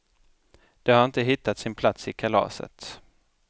De har inte hittat sin plats i kalaset.